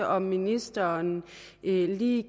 om ministeren lige